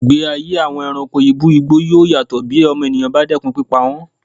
Ìgbé ayé àwọn ẹranko ibú igbó yóò yàtọ̀ bí ọmọnìyàn bá dẹ́kun pípa wọn.